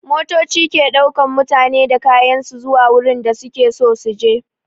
Motoci ke ɗaukan mutane da kayan su zuwa wurin da su ke so su je.